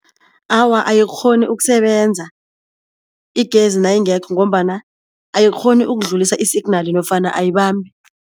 Awa ayikghoni ukusebenza igezi nayingekho ngombana ayikghoni ukudlulisa i-signal nofana ayibambi.